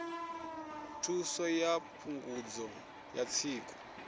thuso ya phungudzo ya tsiku